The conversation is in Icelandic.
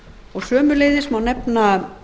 og sömuleiðis má nefna